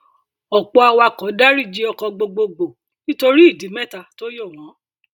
ọpọ awakọ daríjì ọkọ gbogbogbò nítorí ìdí mẹta tó yọ wón